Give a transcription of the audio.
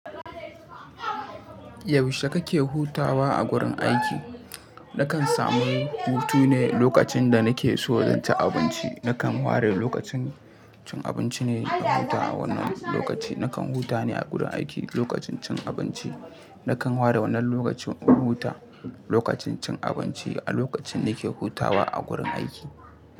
Yaushe kake hutawa a gurin aiki? Nakan samu hutu ne lokacin da nake so zanci abinci. Nakan ware lokacin cin abinci ne don huta a wannan lokaci. Nakan huta ne a gurin aiki lokacin cin abinci. Nakan ware wannan lokacin in huta lokacin cin abinci a lokacin nake hutawa a gurin aiki.